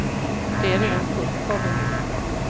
Det är redan fullt på avdelningen.